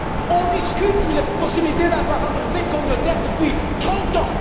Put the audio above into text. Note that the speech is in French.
On discute de la possibilité d'avoir un brevet communautaire depuis trente ans.